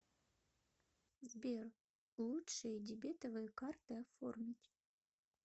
сбер лучшие дебетовые карты оформить